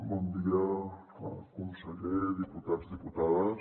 bon dia conseller diputats diputades